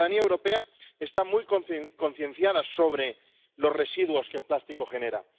La ciudadanía europea está muy concienciada sobre los residuos que el plástico genera